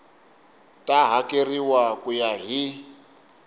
ta hakeriwa ku ya hi